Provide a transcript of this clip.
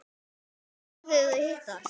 Alltaf þegar þau hittast